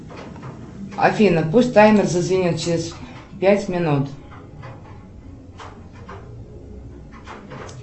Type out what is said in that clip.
афина пусть таймер зазвенит через пять минут